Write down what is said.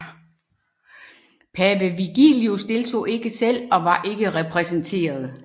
Pave Vigilius deltog ikke selv og var ikke repræsenteret